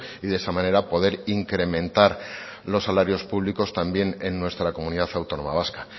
y de esa manera poder incrementar los salarios públicos también en nuestra comunidad autónoma vasca